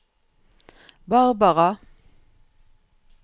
Barbara